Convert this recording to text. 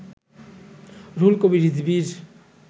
Ruhul Kabir রিজভীর